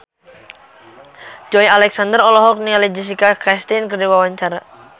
Joey Alexander olohok ningali Jessica Chastain keur diwawancara